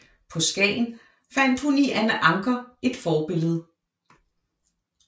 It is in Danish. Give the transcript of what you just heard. På Skagen fandt hun i Anna Ancher et forbillede